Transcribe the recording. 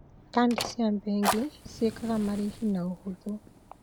Kandi cia bengi ciĩkaga marĩhi na ũhũthũ.